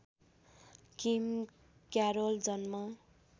किम Carroll जन्म